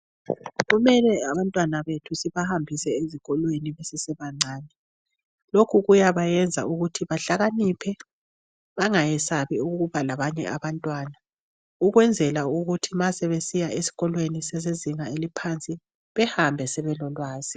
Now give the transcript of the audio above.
Kumele abantwana bethu sibahambise ezikolweni besese bancane. Lokhu kuyabayenza ukuthi behlakaniphe baangayesabi ukuba labanye abantwana ukwenzela ukuthi nxa sebesiya esikolweni sezingeni eliphansi behambe sebelolwazi.